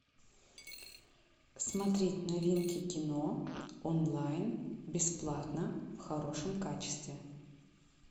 смотреть новинки кино онлайн бесплатно в хорошем качестве